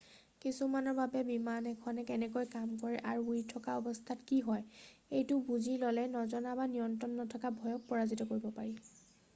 কিছুমানৰ বাবে বিমান এখনে কেনেকৈ কাম কৰে আৰু উৰি থকা অৱস্থাত কি হয় এইটো বুজি ল'লে নজনা বা নিয়ন্ত্ৰণত নথকাৰ ভয়ক পৰাজিত কৰিব পাৰি